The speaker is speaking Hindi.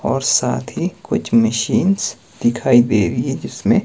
और साथ ही कुछ मशीनस दिखाई दे रही है जिसमें--